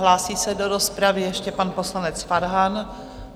Hlásí se do rozpravy ještě pan poslanec Farhan.